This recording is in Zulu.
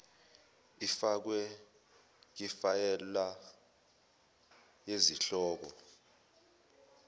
ifakwe kifayela yesihloko